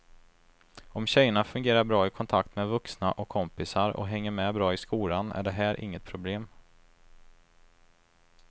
Om tjejerna fungerar bra i kontakt med vuxna och kompisar och hänger med bra i skolan är det här inget problem.